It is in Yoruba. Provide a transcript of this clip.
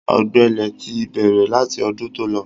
Ọ̀gbẹlẹ̀ ti bẹ̀rẹ̀ láti ọdún tó lọ.